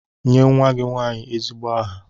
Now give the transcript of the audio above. Nye nwa gị nwanyị ezigbo aha!